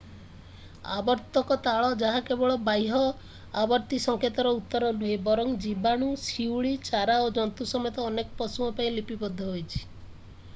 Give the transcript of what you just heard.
ଆବର୍ତ୍ତକ ତାଳ ଯାହା କେବଳ ବାହ୍ୟ ଆବର୍ତ୍ତି ସଂକେତର ଉତ୍ତର ନୁହେଁ ବରଂ ଜୀବାଣୁ ଶିଉଳି ଚାରା ଓ ଜନ୍ତୁ ସମେତ ଅନେକ ପଶୁଙ୍କ ପାଇଁ ଲିପିବଦ୍ଧ ହୋଇଛି